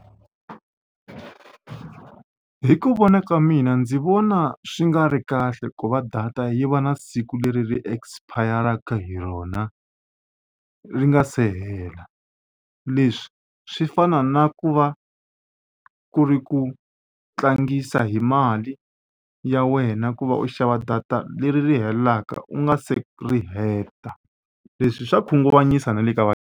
Hi ku vona ka mina ndzi vona swi nga ri kahle ku va data yi va na siku leri ri expire-raka hi rona ri nga se hela leswi swi fana na ku va ku ri ku tlangisa hi mali ya wena ku va u xava data leri ri helaka u nga se ri heta leswi swa khunguvanyisa na le ka va.